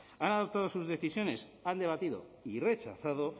han adoptado sus decisiones han debatido y rechazado